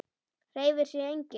Hreyfir sig enginn?